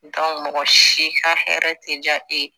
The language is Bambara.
mɔgɔ si ka hɛrɛ tɛ diya e ye